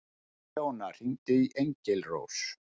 Leóna, hringdu í Engilrós.